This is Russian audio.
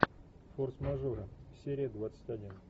форс мажоры серия двадцать один